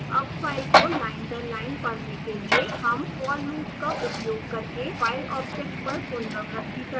अब फाइल को लाइन दर लाइन पढ़ने के लिए हम for loop का उपयोग करके file object पर पुनरावृति करते हैं